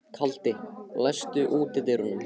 Kaldi, læstu útidyrunum.